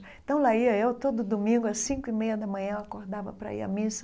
Então lá ia eu todo domingo às cinco e meia da manhã, eu acordava para ir à missa.